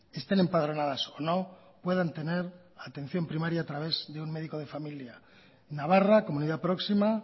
estén empadronadas o no puedan tener atención primaria a través de un médico de familia navarra comunidad próxima